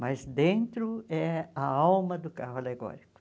Mas dentro é a alma do carro alegórico.